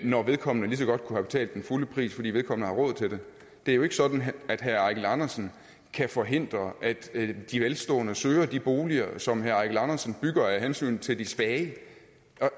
når vedkommende lige så godt kunne have betalt den fulde pris fordi vedkommende har råd til det det er jo ikke sådan at herre eigil andersen kan forhindre at de velstående søger de boliger som herre eigil andersen bygger af hensyn til de svage